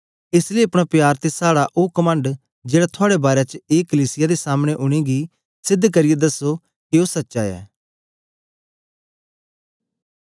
एस लेई अपना प्यार ते साड़ा ओ कमंड जेड़ा थुआड़े बारै च ऐ कलीसिया दे सामने उनेंगी सेध करियै दस्सो के ओ सच्चा ऐ